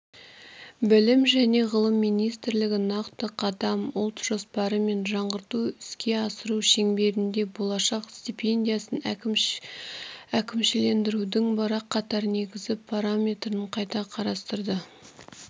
білім және ғылым министрлігі нақты қадам ұлт жоспары мен жаңғырту іске асыру шеңберінде болашақ стипендиясын әкімшілендірудің бірқатар негізгі параметрін қайта қарастырды